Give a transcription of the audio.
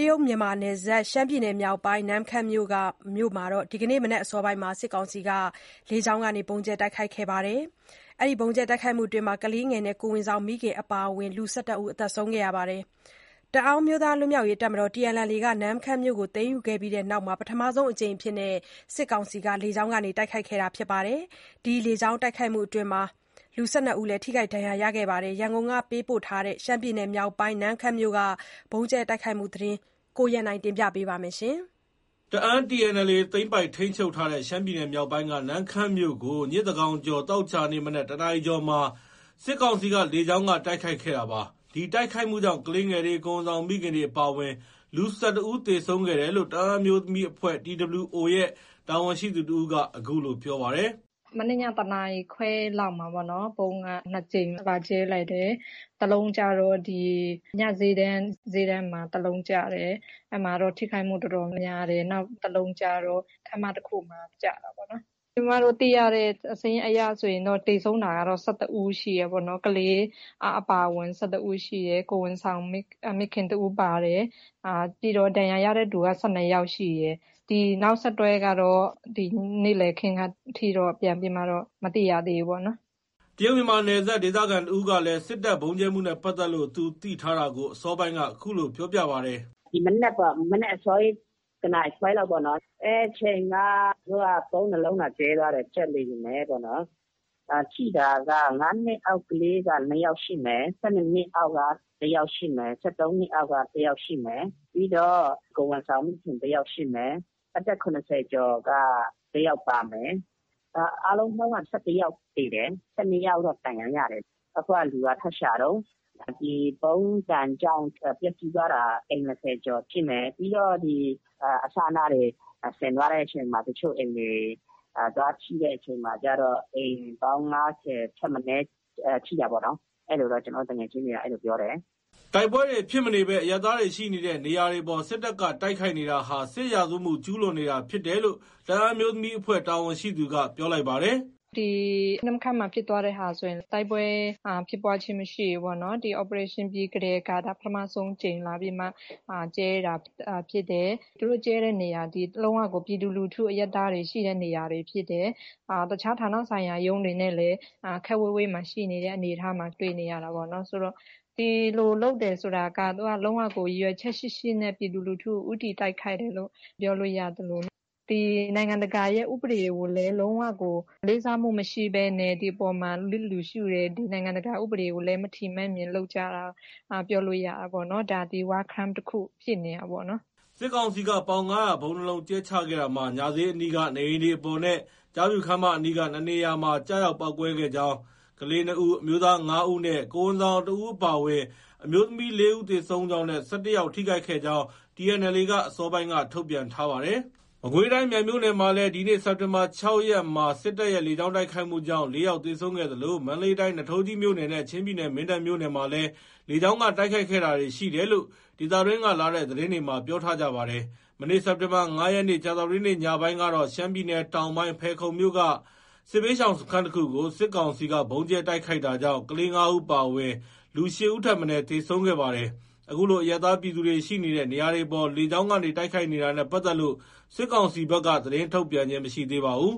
တရုတ်- မြန်မာနယ်စပ် ရှမ်းပြည်နယ်မြောက်ပိုင်းက နမ့်ခမ်းမြို့ကို ဒီကနေ့မနက်အစောပိုင်းမှာ စစ်ကောင်စီက လေကြောင်းက ဗုံးကြဲတိုက်ခိုက်ခဲ့တာကြောင့် ကလေးငယ်နဲ့ ကိုယ်ဝန်ဆောင်မိခင်အပါအဝင် လူ ၁၁ ဦးသေဆုံးခဲ့ပါတယ်။ တအာင်းအမျိုးသားလွတ်မြောက်ရေးတပ်မတော် TNLA က နမ့်ခမ်းမြို့ကို သိမ်းယူခဲ့ပြီးနောက် ပထမဆုံးအကြိမ် စစ်တပ်က လေကြောင်းကနေ တိုက်ခိုက်ခဲ့တာဖြစ်ပါတယ်။ တိုက်ခိုက်မှုအတွင်း ၁၂ ဦးလည်း ထိခိုက်ဒဏ်ရာရခဲ့တဲ့အကြောင်း ရန်ကုန်ကပေးပို့တဲ့သတင်းကို အခြေခံပြီး တင်ပြထားပါတယ်။ တအာင်း TNLA သိမ်းပိုက်၊ ထိန်းချုပ်ထားတဲ့ ရှမ်းပြည်မြောက်ပိုင်းက နမ့်ခမ်းမြို့ကို ညဉ့်သန်းခေါင်ကျော် သောကြာနေ့မနက် ၁ နာရီအကျော်မှာ စစ်ကောင်စီက လေကြောင်းက တိုက်ခိုက်ခဲ့တာပါ။ ဒီတိုက်ခိုက်မှုကြောင့် ကလေးငယ်တွေ၊ ကိုယ်ဝန်ဆောင်မိခင်တွေ အပါအဝင် လူ ၁၁ ဦးသေဆုံးခဲ့တယ်လို့ တအာင်းအမျိုးသမီးအဖွဲ့ TWO ရဲ့ တာဝန်ရှိသူတဦးက အခုလို ပြောပြပါတယ်။ “ မနေ့ည ၁ နာရီခွဲလောက်မှာပေါ့နော်။ဗုံးက နှစ်ကြိမ်လာကြဲလိုက်တယ်။ တလုံးကျတော့ ဒီ ညဈေးတန်း၊ ဈေးတန်းမှာ တလုံးကျတယ်။ အဲဒီမှာတော့ ထိခိုက်မှုတော်တော်များတယ်။ နောက်တလုံးကျတော့ ခန်းမတခုမှာ ကျတာပေါ့နော်။ ကျမတို့ သိရတဲ့စာရင်းအရဆို သေဆုံးတာကတော့ ၁၁ဦးရှိတယ်။ ကလေးအပါအဝင် ၁၁ ဦးရှိတယ်။ ကိုယ်ဝန်ဆောင်မိခင်တဦးပါတယ်။ ပြီးတော့ ဒဏ်ရာရတဲ့သူက ၁၂ယောက်ရှိတယ်။ ဒီနောက်ဆက်တွဲကတော့ နေ့လည်ခင်းအထိကတော့ ပြန်ပြီးမှ မသိရသေးဘူး။” တရုတ်-မြန်မာနယ်စပ်က ဒေသခံသူတဦးကလည်း စစ်တပ် ဗုံးကြဲမှုနဲ့ပတ်သက်လို့ သူသိထားတာကို အစောပိုင်းက ခုလို ပြောပြပါတယ်။ “ထိတာက ၅ နှစ်အောက် ကလေးက ၂ ယောက်ရှိမယ်။ ၁၂ နှစ်အောက်က တယောက်ရှိမယ်။ ၁၃ နှစ်အောက်က တယောက်ရှိမယ်။ ပြီးတော့ ကိုယ်ဝန်ဆောင် မိခင်တယောက်ရှိမယ်။ အသက်၇၀ ကျော်က ၁ ယောက်ပါမယ်။ အားလုံးပေါင်းက ၁၁ ယောက်သေတယ်။ ၁၂ ယောက်ဒဏ်ရာရတယ်။ အခုက လူက ထပ်ရှာတုံး။ ဒီဗုံးဒဏ်ကြောင့် ပျက်ဆီးသွားတာ အိမ် ၂၀ ကျော်ရှိမယ်။ ပြီးတော့ ဒီအစအနတွေ စင်သွားတဲ့အချိန်မှာ တချို့အိမ်တွေ သွားထိတဲ့အချိန်မှာကျတော့ အိမ်ပေါင်း ၅၀ ထက်မနည်း ထိတာပေါ့နော်။” တိုက်ပွဲတွေ ဖြစ်မနေဘဲ အရပ်သားတွေရှိနေတဲ့ နေရာတွေအပေါ် စစ်တပ်က တိုက်ခိုက်နေတာဟာ စစ်ရာဇဝတ်မှု ကျူးလွန်နေတာဖြစ်တယ်လို့ တအာင်းအမျိုးသမီးအဖွဲ့တာဝန်ရှိသူက ပြောလိုက်ပါတယ်။ “ ဒီနမ့်ခမ်းမှာဖြစ်သွားတဲ့ဟာဆိုရင် တိုက်ပွဲမရှိဘူးပေါ့နော်။ ဒီ Operation ပြီးကတည်းက ဒါ ပထမဆုံးအကြိမ်လာပြီးမှ ကြဲတာဖြစ်တယ်။ သူတို့ ကြဲတဲ့နေရာဟာ ပြည်သူလူထု အရပ်သားတွေ ရှိတဲ့နေရာဖြစ်တယ်။ တခြား ဌာနဆိုင်ရာရုံးတွေနဲ့လည်း ခပ်ဝေးဝေးမှာ ရှိတဲ့အနေအထားမှာ တွေ့နေရတာပေါ့နော်။ ဒီလိုလုပ်တယ်ဆိုတာက သူက လုံးဝကို ရည်ရွယ်ချက်ရှိရှိနဲ့ ပြည်သူလူထုကို ဦးတည်တိုက်ခိုက်တယ်လို့ ပြောလို့ရသလို နိုင်ငံတကာရဲ့ ဥပဒေကိုလည်း လုံးဝကို လေးစားမှုမရှိဘဲနဲ့ ဒီအပေါ်မှာ လျစ်လျူရှုတယ်။ နိုင်ငံတကာဥပဒေကိုလည်း မထီမဲ့မြင်လုပ်ကြတာလို့ ပြောလို့ရတာပေါ့။ ဒါ War Crime တခု ဖြစ်နေတာပေါ့နော်။" စစ်ကောင်စီက ပေါင် ၅၀၀ ဗုံး ၂ လုံးကြဲချခဲ့တာမှာ ညဈေးအနီးက နေအိမ်တွေအပေါ်နဲ့ ကျားဖြူခန်းမအနီး ၂ နေရာမှာ ကျရောက်ပေါက်ကွဲခဲ့ကြောင်း၊ ကလေး ၂ ဦး၊ အမျိုးသား ၅ ဦး နဲ့ ကိုယ်ဝန်ဆောင်တဦးအပါအဝင် အမျိုးသမီး ၄ ဦး သေဆုံးကြောင်းနဲ့ ၁၁ ယောက် ထိခိုက်ခဲ့ကြောင်း TNLA က အစောပိုင်းက ထုတ်ပြန်ထားပါတယ်။ မကွေးတိုင်းမြိုင်မြို့နယ်မှာလည်း ဒီနေ့ စက်တင်ဘာ ၆ ရက်မှာ စစ်တပ်ရဲ့ လေကြောင်းတိုက်ခိုက်မှုကြောင့် ၄ ယောက်သေဆုံးခဲ့သလို၊ မန္တလေးတိုင်း နွားထိုးကြီးမြို့နယ်နဲ့ ချင်းပြည်နယ် မင်းတပ်မြို့နယ်မှာလည်း လေကြောင်းက တိုက်ခိုက်တာတွေရှိခဲ့တယ်လို့ ဒေသတွင်းကလာတဲ့ သတင်းတွေမှာ ပြောထားကြပါတယ်။ မနေ့ စက်တင်ဘာ ၅ ရက် ကြာသပတေးနေ့ ညပိုင်းကတော့ ရှမ်းပြည်နယ်တောင်ပိုင်း ဖယ်ခုံမြို့က စစ်ဘေးရှောင်စခန်းတခုကို စစ်ကောင်စီက ဗုံးကြဲတိုက်ခိုက်တာကြောင့် ကလေး ၅ ဦးအပါအဝင် လူ ၈ဦးထက်မနည်း သေဆုံးခဲ့ပါတယ်။ အခုလို အရပ်သားပြည်သူတွေ ရှိနေတဲ့ နေရာတွေအပေါ် လေကြောင်းကနေ တိုက်ခိုက်နေတာတွေနဲ့ ပတ်သက်လို့ စစ်ကောင်စီဘက်က သတင်းထုတ်ပြန်ခြင်း မရှိသေးပါဘူး